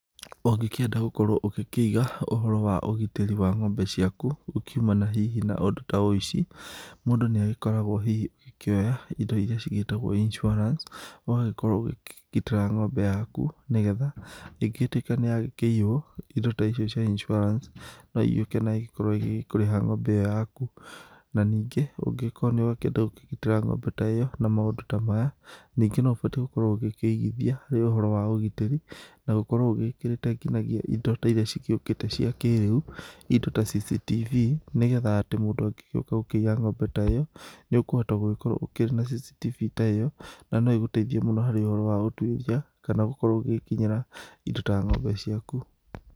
Ũngĩkenda gũkorwo ũgĩkĩiga ũhoro wa ũgitĩri wa ng'ombe ciaku, gũkiumana hihi na ũndũ ta ũici. mũndũ nĩa gĩkoragwo hihi akĩoya indo ĩria cigĩtagwo insurance. Ũgagĩkorwo ũkĩgitira ng'ombe yaku nĩgetha ĩngĩgĩtwĩka nĩyagĩkĩiwo, indo ta icio cia insurance nũigĩũke naigĩkorwo ĩgĩkũrĩha ng'ombe yaku. Na ningĩ ũngĩkorwo nĩũrenda kũgitĩra ng'ombe ta ĩyo na maũndũ ta maya ningĩ nĩ ũbatiĩ gũkoro ũkĩigithia ũhoro wa ũgitĩri na gũkorwo ũgĩkĩrĩte ngĩnyagia indo ta irĩa ciukĩte cia kĩrĩu. Ĩndo ta cctv nĩgetha atĩ mũndũ angĩũka kũia ng'ombe ta ĩyo ,nĩũkũhota gũkorwo ũkĩrĩ na cctv ta ĩo . Nanoĩgĩgũteithie mũno harĩ ũhoro wa ũtwĩria kana ũngĩkorwo ũgĩkinyĩra indo ta ng'ombe ciaku .